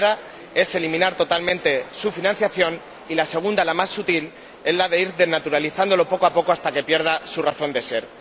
La primera es eliminar totalmente su financiación, y la segunda, la más sutil, es la de ir desnaturalizándolo poco a poco hasta que pierda su razón de ser.